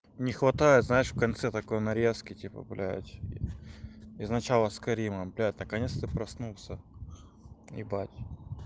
не хватает знаешь в конце такой нарезки типа блядь из начала с каримом блядь наконец-то проснулся ебать